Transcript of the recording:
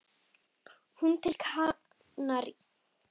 Þú til Kanarí?